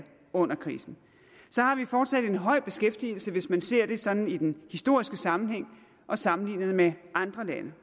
under krisen har vi fortsat en høj beskæftigelse hvis man ser det sådan i den historiske sammenhæng og sammenligner det med andre lande